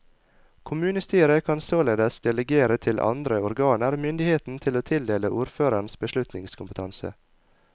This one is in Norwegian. Kommunestyret kan således delegere til andre organer myndigheten til å tildele ordføreren beslutningskompetanse.